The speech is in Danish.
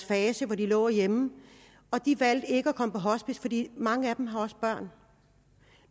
fase hvor de lå hjemme og de valgte ikke at komme på hospice fordi mange af dem også havde børn